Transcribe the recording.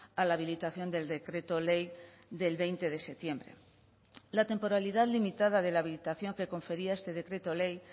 a la habilitación del decreto ley del veinte de septiembre la temporalidad limitada de la habilitación que confería este decreto ley